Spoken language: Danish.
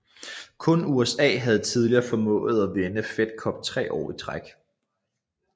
Kun USA havde tidligere formået at vinde Fed Cup tre år i træk